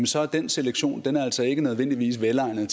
så er den selektion altså ikke nødvendigvis velegnet